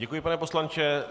Děkuji, pane poslanče.